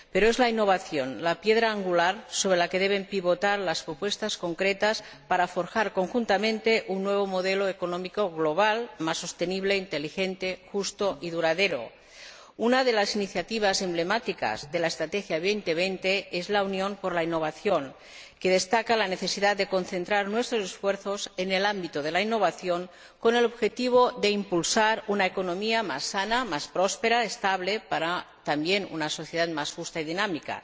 Pero es la innovación la piedra angular sobre la que deben pivotar las propuestas concretas para forjar conjuntamente un nuevo modelo económico global más sostenible, inteligente, justo y duradero. Una de las iniciativas emblemáticas de la Estrategia 2020 es la Unión por la innovación, que destaca la necesidad de concentrar nuestros esfuerzos en el ámbito de la innovación con el objetivo de impulsar una economía más sana, más próspera, estable y, también, una sociedad más justa y dinámica.